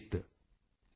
अग्नि शेषम् ऋण शेषम्